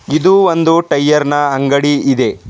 ಇದು ಒಂದು ಟೈಯರ್ ನ ಅಂಡಗಿ ಇದೆ.